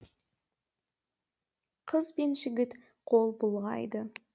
қыз бен жігіт қол бұлғайды